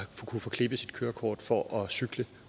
kunne få klip i sit kørekort for at cykle